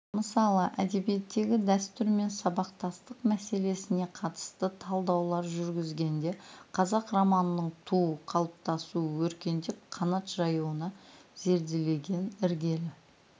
мысалы әдебиеттегі дәстүр мен сабақтастық мәселесіне қатысты талдаулар жүргізгенде қазақ романының туу қалыптасу өркендеп қанат жаюын зерделеген іргелі